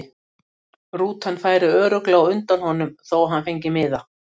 Rútan færi örugglega á undan honum þó að hann fengi miða.